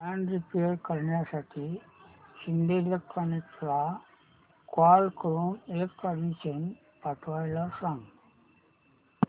fan repair करण्यासाठी शिंदे इलेक्ट्रॉनिक्सला call करून इलेक्ट्रिशियन पाठवायला सांग